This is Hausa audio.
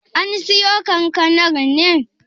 An siyo kankanar ne?